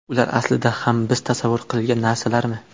Ular aslida ham biz tasavvur qilgan narsalarmi?